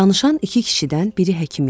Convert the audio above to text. Danışan iki kişidən biri həkim idi.